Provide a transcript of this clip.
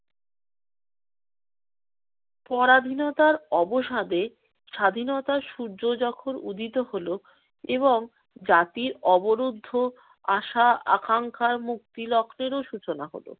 পরাধীনতার অবসাদে স্বাধীনতার সূর্য যখন উদিত হলো এবং জাতির অবরুদ্ধ আশা আকাঙ্ক্ষার মুক্তি লগ্নেও সূচনা হলো